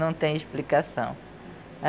Não tem explicação.